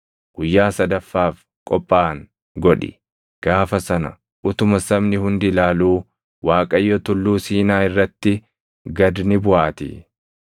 guyyaa sadaffaaf qophaaʼan godhi; gaafa sana utuma sabni hundi ilaaluu Waaqayyo Tulluu Siinaa irratti gad ni buʼaatii.